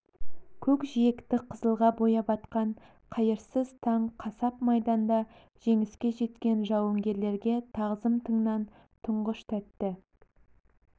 көкжиекті қызылға бояп атқан қайырсыз таң қасап майданда жеңіске жеткен жауынгерлерге тағзым тыңның тұңғыш тәтті